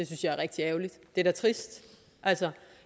synes jeg er rigtig ærgerligt det er da trist altså